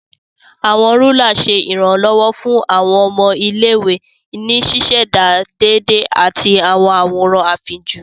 Awọn Rúlà ṣe iranlọwọ fun awọn ọmọ ilé-ìwé ní ṣiṣẹda déédé ati awọn àwòrán afínjú.